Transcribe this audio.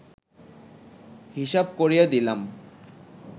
হিসাব করিয়া দিলাম